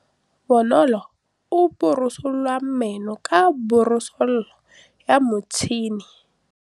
Bonolô o borosola meno ka borosolo ya motšhine.